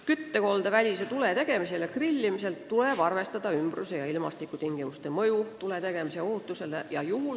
Küttekoldevälise tule tegemisel ja grillimisel tuleb arvestada ümbruse ja ilmastikutingimuste mõju tuletegemise ohutusele.